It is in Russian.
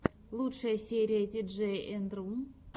лучшая серия тиджей энд ру